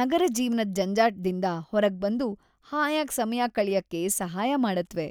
ನಗರ ಜೀವ್ನದ ಜಂಜಾಟ್ದಿಂದ ಹೊರಗ್ಬಂದು ಹಾಯಾಗ್ ಸಮಯ ಕಳ್ಯಕ್ಕೆ ಸಹಾಯ ಮಾಡತ್ವೆ.